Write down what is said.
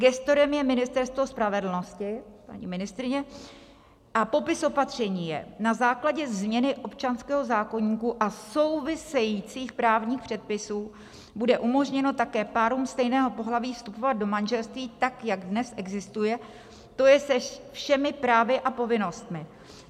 Gestorem je Ministerstvo spravedlnosti, paní ministryně, a popis opatření je: "Na základě změny občanského zákoníku a souvisejících právních předpisů bude umožněno také párům stejného pohlaví vstupovat do manželství tak, jak dnes existuje, to je se všemi právy a povinnostmi.